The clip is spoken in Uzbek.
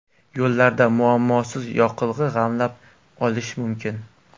Yo‘llarda muammosiz yoqilg‘i g‘amlab olish mumkin.